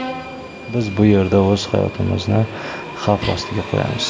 Biz bu yerda o‘z hayotimizni xavf ostiga qo‘yamiz.